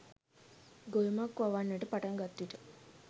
ගොයමක් වවන්නට පටන්ගත් විට